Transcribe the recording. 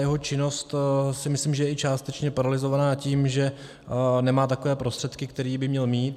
Jeho činnost, si myslím, že je i částečně paralyzovaná tím, že nemá takové prostředky, které by měl mít.